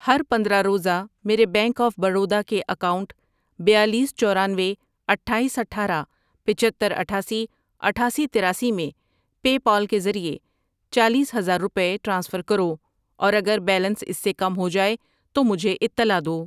ہر پندرہ روزہ میرے بینک آف بروڈا کے اکاؤنٹ بیالیس، چورانوے، اٹھایس، اٹھارہ، پچہتر، اٹھاسی، اٹھاسی، تراسی میں پے پال کے ذریعے چالیس ہزار روپے ٹرانسفر کرو اور اگر بیلنس اس سے کم ہو جائے تو مجھے اطلاع دو۔